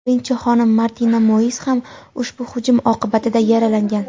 birinchi xonim Martina Moiz ham ushbu hujum oqibatida yaralangan.